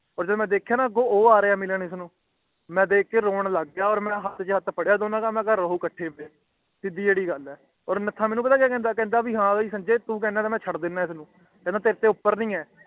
ਓਰ ਫੇਰ ਮੈਂ ਵੇਖਿਆ ਨਾ ਕਿ ਅੱਗੋਂ ਉਹ ਆਰੀਆ ਹੈ ਇਹਨੂੰ ਮਿਲਣ ਨੂੰ ਮਈ ਵੇਖ ਕੇ ਰੋਂ ਲਾਗਯਾ ਤੇ ਮੈਂ ਹੱਥ ਛੇ ਹੱਥ ਫਾਦਯਾ ਦੂਵਾ ਦਾ ਤੇ ਕਿਹਾ ਕਿ ਰਹੋ ਇਕੱਠੇ ਸਿੱਦੀ ਜੇਦੀ ਗੱਲ ਹੈ ਓਰ ਨੱਥਾ ਪਤਾ ਮੇਨੂ ਕਿ ਕਹਿਣਾ ਕਿ ਹੈ ਸੰਜੇ ਤੂੰ ਕਹਿੰਦਾ ਹੈ ਤਾਂ ਮਈ ਛੱਡ ਦਿੰਦਾ ਹੈ ਅੰਨੁ ਕਹਿੰਦਾ ਤੇਰੇ ਤੇ ਉੱਪਰ ਨੀ ਹੈ